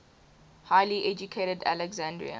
highly educated alexandrian